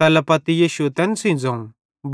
तैल्ला पत्ती यीशुए तैन सेइं ज़ोवं